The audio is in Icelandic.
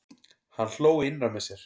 Hann hló innra með sér.